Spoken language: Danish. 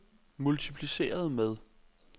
multipliceret med